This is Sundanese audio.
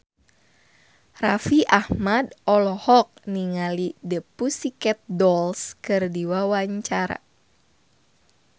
Raffi Ahmad olohok ningali The Pussycat Dolls keur diwawancara